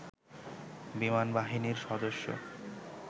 বিমানবাহিনীর সদস্য